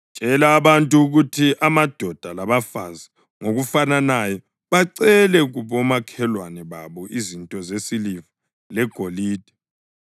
Tshela abantu ukuthi amadoda labafazi ngokufananayo bacele kubomakhelwane babo izinto zesiliva legolide.”